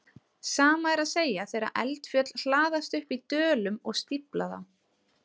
Sama er að segja þegar eldfjöll hlaðast upp í dölum og stífla þá.